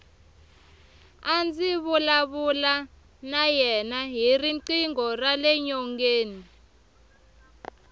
a ndzi vulavula na yena hi riqingho rale nyongeni